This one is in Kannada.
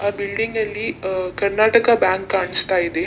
ಆ ಬಿಲ್ಡಿಂಗ್ ಲ್ಲಿ ಆ ಕರ್ನಾಟಕ ಬ್ಯಾಂಕ್ ಕಾಣಿಸ್ತಾ ಇದೆ.